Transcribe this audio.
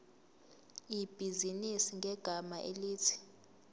ibhizinisi ngegama elithi